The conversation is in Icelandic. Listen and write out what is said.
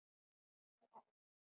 Í alvöru.